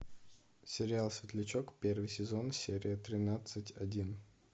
сериал светлячок первый сезон серия тринадцать один